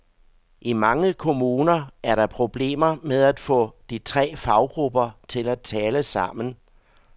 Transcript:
I mange kommuner er der problemer med at få de tre faggrupper til at tale sammen.